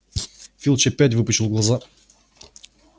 филч опять выпучил глаза